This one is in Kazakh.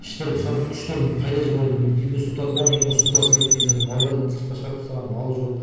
іштері пысады күштерін қайда жіберерін білмейді үйге су тартып алған ең болмаса су тасымайды деген сияқты малдарын сыртқа шығарып тастаған мал жоқ